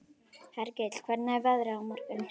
Hergill, hvernig er veðrið á morgun?